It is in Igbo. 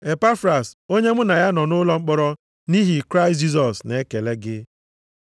Epafras, onye mụ na ya nọ nʼụlọ mkpọrọ nʼihi Kraịst Jisọs na-ekele gị.